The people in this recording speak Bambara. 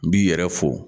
N b'i yɛrɛ fo